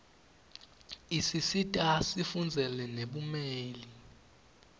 isisita sifundzele nebumeli